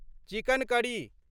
chicken curry